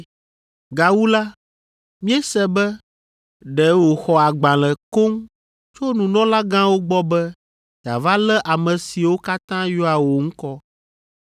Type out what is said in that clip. Gawu la, míese be ɖe wòxɔ agbalẽ koŋ tso nunɔlagãwo gbɔ be yeava lé ame siwo katã yɔa wò ŋkɔ.”